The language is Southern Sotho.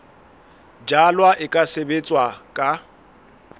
jalwa e ka sebetswa ka